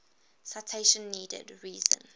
citation needed reason